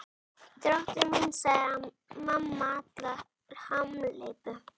Drottinn minn, sagði mamma Alla hamhleypu.